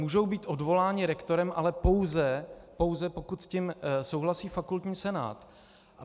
Můžou být odvoláni rektorem, ale pouze pokud s tím souhlasí fakultní senát.